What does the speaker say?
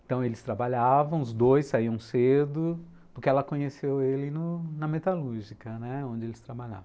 Então eles trabalhavam, os dois saíam cedo, porque ela conheceu ele no, na metalúrgica, né, onde eles trabalhavam.